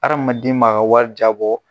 Adamaden ma ka wari jabɔ.